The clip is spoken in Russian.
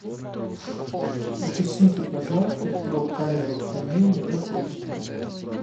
уточните пожалуйста про камеру хранения в отеле